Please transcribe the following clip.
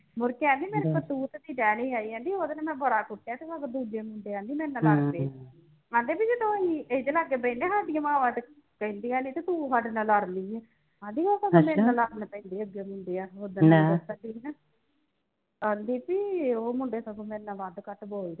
ਆਂਦੀ ਬਈ ਉਹ ਮੁੰਡੇ ਸਗੋਂ ਮੇਰੇ ਨਾਲ ਵੱਧ ਘੱਟ ਬੋਲਦੇ